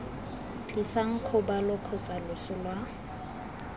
tlisang kgobalo kgotsa loso lwa